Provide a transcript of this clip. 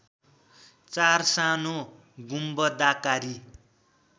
चार सानो गुम्बदाकारी